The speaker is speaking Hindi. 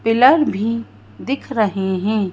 पिलर भी दिख रहे हैं।